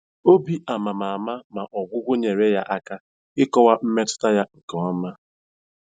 Obi ama ama ama ama, ma ọgwụgwọ nyeere ya aka ịkọwa mmetụta ya nke ọma.